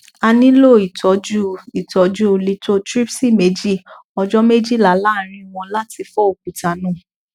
a nilo itọju itọju lithotripsy meji ọjọ mejila laaarin wọn lati fọ okuta naa